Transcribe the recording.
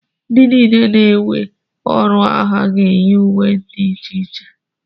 ndị niile ana-ewe ọrụ agha ga-eyi uwe dị iche iche echi